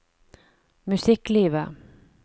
musikklivet